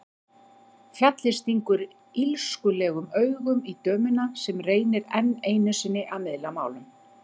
Fjallið stingur illskulegum augum í dömuna sem reynir enn einu sinni að miðla málum.